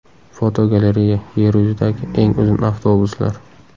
Fotogalereya: Yer yuzidagi eng uzun avtobuslar.